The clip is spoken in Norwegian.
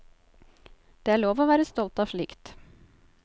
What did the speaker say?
Det er lov å være stolt av slikt.